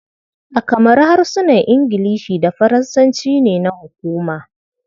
A kamaru, harsunan Ingilishi da Faransanci ne na hukuma.